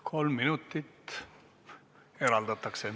Kolm minutit eraldatakse.